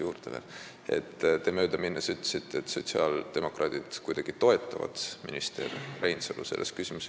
Te ütlesite möödaminnes, et sotsiaaldemokraadid toetavad minister Reinsalu selles küsimuses.